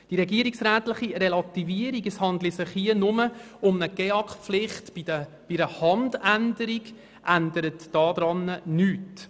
Die regierungsrätliche Relativierung, wonach es sich lediglich um eine GEAK-Pflicht bei einer Handänderung handle, ändert daran nichts.